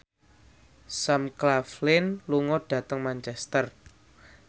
Sam Claflin lunga dhateng Manchester